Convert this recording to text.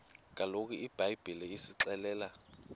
kaloku ibhayibhile isixelela